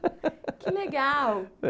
Que legal. É